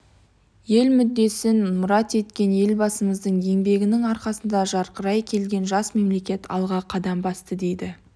ел мүддесін мұрат еткен елбасымыздың еңбегінің арқасында жарқырай келген жас мемлекет алға қадам басты дейді